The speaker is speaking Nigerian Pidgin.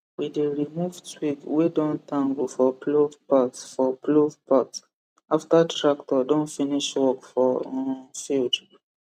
we dey remove twig wey don tangle for plough parts for plough parts after tractor don finish work for um field